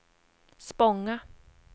Spånga